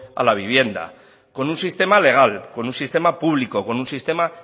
a la vivienda con un sistema legal con un sistema público con un sistema